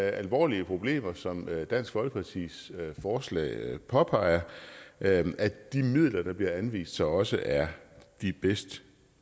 alvorlige problemer som dansk folkepartis forslag påpeger at at de midler der bliver anvist så også er de bedst